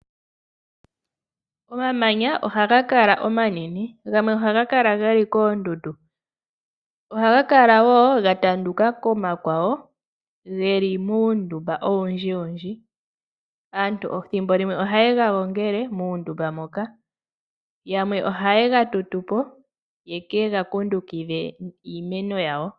Omamanya ohaga kala omanene, gamwe ohaga kala geli koondundu. Ohaga kala woo ga tanduka komakwawo geli muundumba owundji. Aantu ethimbo limwe oha yega gongele yamwe oha yega tutupo yekega kundukidhe iiimeno yawo.